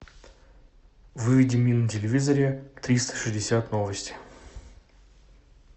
выведи мне на телевизоре триста шестьдесят новости